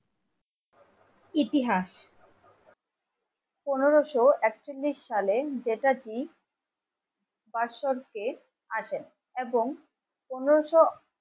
ইতিহাস পনেরোশো একচল্লিশ সালে যেটা ডিপ আছেন এবং পনেরশো